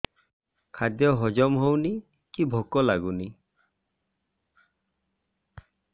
ଖାଦ୍ୟ ହଜମ ହଉନି କି ଭୋକ ଲାଗୁନି